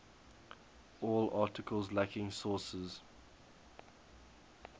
all articles lacking sources